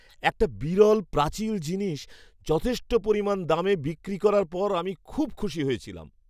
একটা বিরল প্রাচীন জিনিস যথেষ্ট পরিমাণ দামে বিক্রি করার পর আমি খুব খুশি হয়েছিলাম।